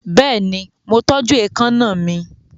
Bẹ́ẹ̀ni, mo tọ́jú èékánná mi.